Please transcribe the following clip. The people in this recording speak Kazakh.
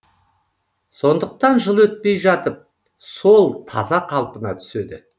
сондықтан жыл өтпей жатып сол таза қалпына түседі